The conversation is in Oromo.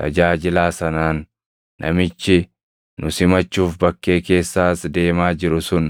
tajaajilaa sanaan, “Namichi nu simachuuf bakkee keessa as deemaa jiru sun